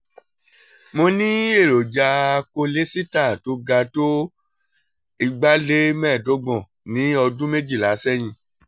mo ní èròjà kólésítà tó ga tó two hundred twenty five ní ọdún méjìlá sẹ́yìn